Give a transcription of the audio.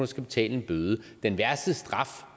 skal betale en bøde den værste straf